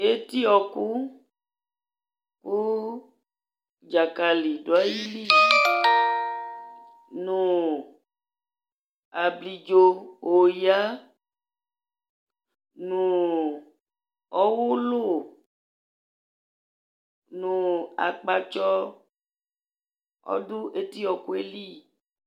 Eti wɔku lu dzakali ɔdu ayili nu ablidzo oya nu ɔwulu nu akpatsɔ